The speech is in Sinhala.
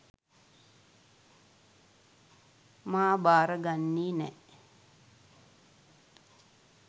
මා භාර ගන්නෙ නෑ.